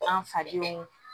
An fadenw